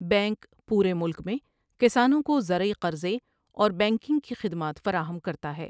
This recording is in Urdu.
بینک پورے ملک میں کسانوں کو زرعی ْٓقرضے اور بینکنگ کی خدمات فراہم کرتا ہے ۔